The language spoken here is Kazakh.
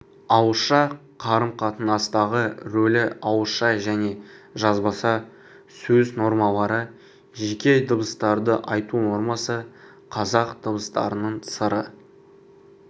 ауызша қарым-қатынастағы рөлі ауызша және жазбаша сөз нормалары жеке дыбыстарды айту нормасы қазақ дыбыстарының сыры